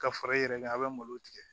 Ka fara i yɛrɛ kan a bɛ malo tigɛ